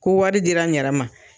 Ko wari dira n yɛrɛ ma